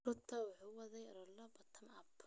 Ruto waxa uu waday olole "Bottom-Up".